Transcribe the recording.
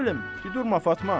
Nə bilim, durma Fatma.